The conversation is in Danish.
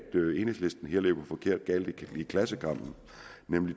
enhedslisten her løber forkert i klassekampen